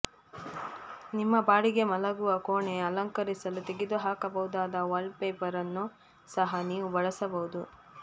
ನಿಮ್ಮ ಬಾಡಿಗೆ ಮಲಗುವ ಕೋಣೆ ಅಲಂಕರಿಸಲು ತೆಗೆದುಹಾಕಬಹುದಾದ ವಾಲ್ಪೇಪರ್ ಅನ್ನು ಸಹ ನೀವು ಬಳಸಬಹುದು